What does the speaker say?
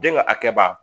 Den ka hakɛba